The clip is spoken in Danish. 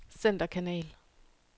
centerkanal